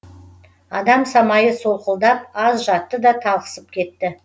адам самайы солқылдап аз жатты да талықсып кетті